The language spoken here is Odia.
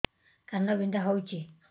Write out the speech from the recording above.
କାନ ବିନ୍ଧା ହଉଛି